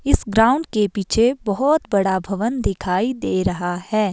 इस ग्राउंड के पीछे बहोत बड़ा भवन दिखाई दे रहा है।